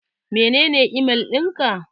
Menene email ɗin ka?